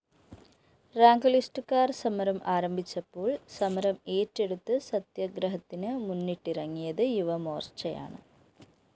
റാങ്കുലിസ്റ്റുകാര്‍ സമരം ആരംഭിച്ചപ്പോള്‍ സമരം ഏറ്റെടുത്ത് സത്യഗ്രഹത്തിന് മുന്നിട്ടിറങ്ങിയത് യുവമോര്‍ച്ചയാണ്